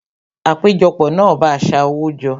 Àpéjọpọ̀ náà bá a sa owó jọ